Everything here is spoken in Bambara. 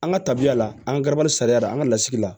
An ka tabiya la an ka garibu sariya la an ka lasigila